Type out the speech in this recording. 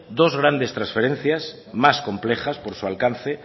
dos grandes transferencias más complejas por su alcance